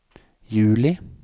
juli